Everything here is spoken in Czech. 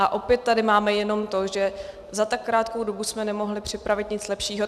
A opět tady máme jenom to, že za tak krátkou dobu jsme nemohli připravit nic lepšího.